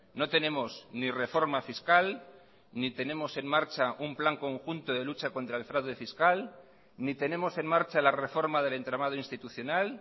no tenemos ni reforma fiscal ni tenemos en marcha un plan conjunto de lucha contra el fraude fiscal ni tenemos en marcha la reforma del entramado institucional